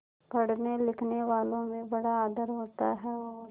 पढ़नेलिखनेवालों में बड़ा आदर होता है और